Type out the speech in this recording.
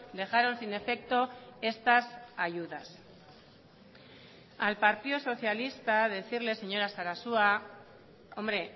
dejaron sin efecto estas ayudas al partido socialista decirle señora sarasua hombre